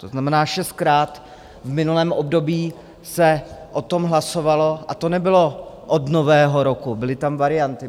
To znamená šestkrát v minulém období se o tom hlasovalo, a to nebylo od Nového roku, byly tam varianty.